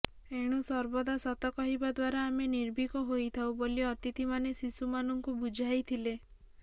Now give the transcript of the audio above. ଏଣୁ ସର୍ବଦା ସତ କହିବା ଦ୍ବାରା ଆମେ ନିର୍ଭୀକ ହୋଇଥାଉ ବୋଲି ଅତିଥିମାନେ ଶିଶୁମାନଙ୍କୁ ବୁଝାଇଥିଲେ